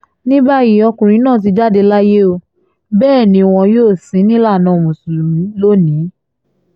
ní báyìí ọkùnrin náà ti jáde láyé ó bẹ́ẹ̀ ni wọn yóò sìn ín nílànà mùsùlùmí lónì-ín